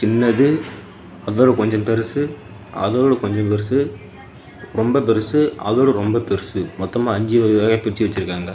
பின்னாடி அதோட கொஞ்ஜோ பெருசு அதோட கொஞ்ஜோ பெருசு ரொம்ப பெருசு அதோட ரொம்ப பெருசு மொத்தமா அஞ்சு வகவகையா பிரிச்சு வச்சிருக்காங்க.